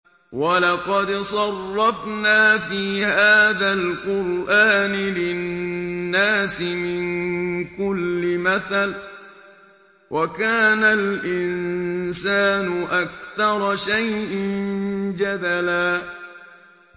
وَلَقَدْ صَرَّفْنَا فِي هَٰذَا الْقُرْآنِ لِلنَّاسِ مِن كُلِّ مَثَلٍ ۚ وَكَانَ الْإِنسَانُ أَكْثَرَ شَيْءٍ جَدَلًا